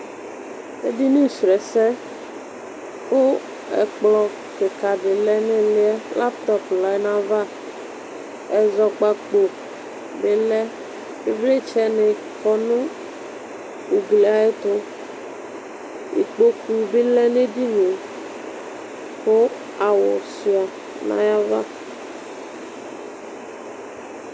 Ɛdɩnɩ srɔɛsɛ kʋ ɛkplɔ kɩka dɩ lɛ nʋ ɩlɩɛ latɔp lɛ nʋ ayava Ɛzɔkpako bɩ lɛ ɩvlɩtsɛ nɩ kɔnʋ ʋglɩ ayɛtʋ ɩkpokʋ bɩ lɛ nʋ edɩnɩe kʋ awʋ sua nʋ ayava